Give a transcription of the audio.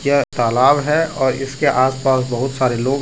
यह तालाब है और इसके आस पास बहुत सारे लोग है।